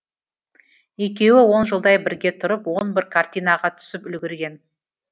екеуі он жылдай бірге тұрып он бір картинаға түсіп үлгерген